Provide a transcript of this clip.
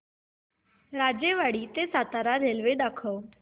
राजेवाडी ते सातारा रेल्वे दाखव